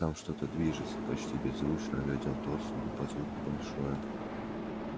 там что-то движется почти беззвучно ответил тот судя по звуку большое